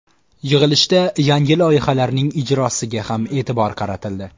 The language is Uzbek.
Yig‘ilishda yangi loyihalarning ijrosiga ham e’tibor qaratildi.